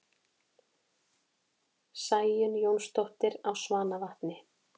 Sæunn Jónsdóttir á Svanavatni